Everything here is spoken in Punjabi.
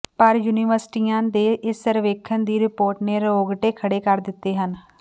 ਪਰ ਯੂਨੀਵਰਸਿਟੀਆਂ ਦੇ ਇਸ ਸਰਵੇਖਣ ਦੀ ਰਿਪੋਰਟ ਨੇ ਰੌਗਟੇ ਖੜੇ ਕਰ ਦਿੱਤੇ ਹਨ